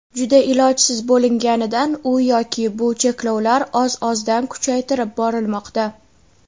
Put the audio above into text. juda ilojsiz bo‘linganidan u yoki bu cheklovlar oz-ozdan kuchaytirib borilmoqda.